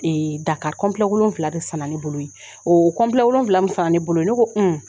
Dakari wolonwula de san na, ne bolo yen, o wolonwula min san na ne bolo yen, ne ko